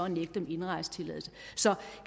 nægte dem indrejsetilladelse så